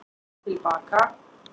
Til baka